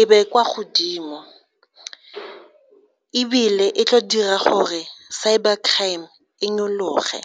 e be kwa godimo ebile e tlo dira gore cyber crime e nyolohe.